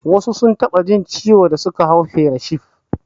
Wasu sun taɓa jin ciwo da suka hau fairet shif